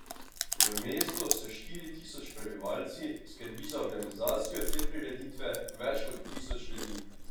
V mestu s štiri tisoč prebivalci skrbi za organizacijo te prireditve več kot tisoč ljudi.